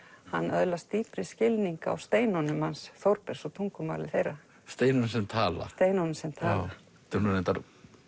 hann öðlast dýpri skilning á steinunum hans Þórbergs og tungumáli þeirra steinar sem tala steinunum sem tala þetta er nú reyndar